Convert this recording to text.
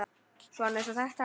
Svona eins og þetta!